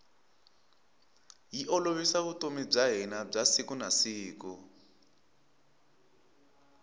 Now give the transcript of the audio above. yi olovisa vutomi bya hina bya siku na siku